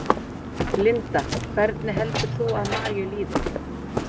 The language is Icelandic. Linda: Hvernig heldur þú að Maríu líði?